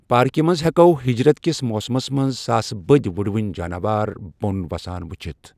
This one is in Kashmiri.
پارکہِ منز ہیٚکِو ہجرت کِس موسمَس منٛز ساسہٕ بٔدۍ وُڑوٕنۍ جاناوار بۄن وسان وٕچھِتھ ۔